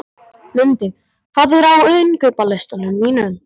Lundi, hvað er á innkaupalistanum mínum?